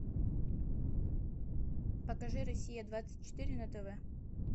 покажи россия двадцать четыре на тв